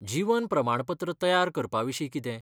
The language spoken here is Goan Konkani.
जीवन प्रमाणपत्र तयार करपाविशीं कितें?